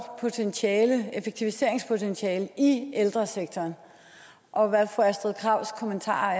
effektiviseringspotentiale i ældresektoren og hvad er fru astrid krags kommentarer